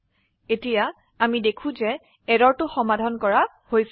এতিয়া আমি দেখি যে এৰৰটো সমাধান কৰা হৈছে